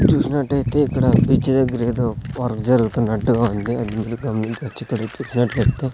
చూసినట్టయితే ఇక్కడ బీచ్ దగ్గర ఏదో వర్క్ జరుగుతున్నట్టుగా ఉంది అది మీరు గమనించొచ్చు --